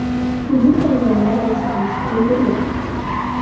Hujum qilganlar yashirinishga ulgurgan.